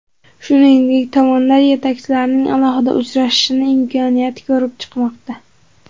Shuningdek, tomonlar yetakchilarning alohida uchrashishi imkoniyatini ko‘rib chiqmoqda.